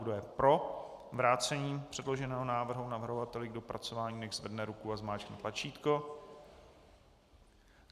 Kdo je pro vrácení předloženého návrhu navrhovateli k dopracování, nechť zvedne ruku a zmáčkne tlačítko.